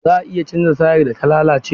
Za a iya canza tayar da ta lalace?